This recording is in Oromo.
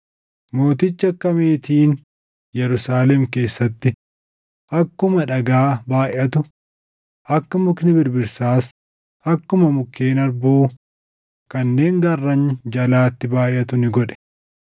Mootichi akka meetiin Yerusaalem keessatti akkuma dhagaa baayʼatu, akka mukni birbirsaas akkuma mukkeen harbuu kanneen gaarran jalaatti baayʼatu ni godhe.